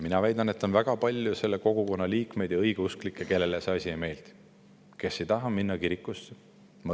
Mina väidan, et on väga palju selle kogukonna liikmeid, õigeusklikke, kellele see asi ei meeldi ja kes ei taha minna kirikusse.